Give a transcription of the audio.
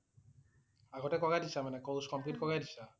আগতেই কৰাই দিছা মানে । course complete কৰাই দিছা?